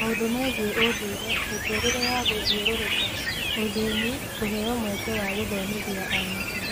Maũndũ megiĩ ũndũire, mĩtũũrĩre ya gũthiũrũrũka, ũthĩni, kũheo mweke wa gũthomithia anake